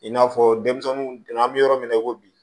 I n'a fɔ denmisɛnninw don an bɛ yɔrɔ min na i ko bi